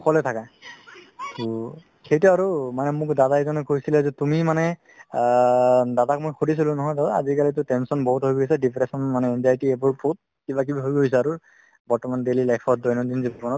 অকলে থাকে ট সেইটো আৰু তাৰ মানে মোক দাদা এজনে কৈছিলে মনে যে তুমি মানে আ দাদাক মই শুধিছিলো দাদা আজিকালিতো tension বহুত হৈ গৈছে depression মানে anxiety এইবোৰ বহুত কিবা কিবি হৈ গৈছে আৰু বৰ্তমান daily life ত দৈনন্দিন জীৱনত